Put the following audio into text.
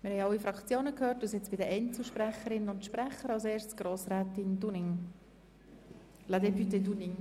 Wir haben alle Fraktionssprechenden gehört und kommen nun zu den Einzelvoten.